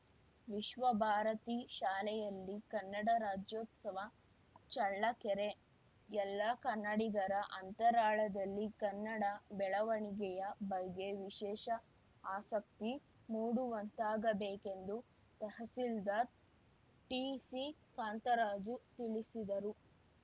ವಿಶ್ವಭಾರತಿ ಶಾಲೆಯಲ್ಲಿ ಕನ್ನಡ ರಾಜ್ಯೋತ್ಸವ ಚಳ್ಳಕೆರೆ ಎಲ್ಲಾ ಕನ್ನಡಿಗರ ಅಂತರಾಳದಲ್ಲಿ ಕನ್ನಡ ಬೆಳವಣಿಗೆಯ ಬಗ್ಗೆ ವಿಶೇಷ ಆಸಕ್ತಿ ಮೂಡುವಂತಾಗಬೇಕೆಂದು ತಹಸೀಲ್ದಾರ್‌ ಟಿಸಿಕಾಂತರಾಜು ತಿಳಿಸಿದರು